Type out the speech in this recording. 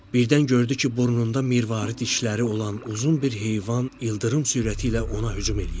Birdən gördü ki, burnunda mirvari dişləri olan uzun bir heyvan ildırım sürəti ilə ona hücum eləyir.